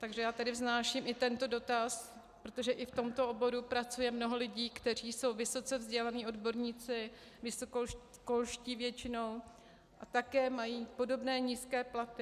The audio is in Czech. Takže já tady vznáším i tento dotaz, protože i v tomto oboru pracuje mnoho lidí, kteří jsou vysoce vzdělaní odborníci, vysokoškolští většinou, a také mají podobné nízké platy.